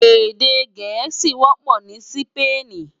Èdè Gẹẹsi kó wọpọ ni Sípéènì.